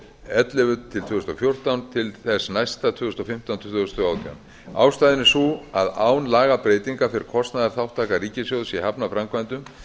ellefu til tvö þúsund og fjórtán til þess næsta tvö þúsund og fimmtán til tvö þúsund og átján ástæðan er sú að án lagabreytinga fer kostnaðarþátttaka ríkissjóðs í hafnarframkvæmdum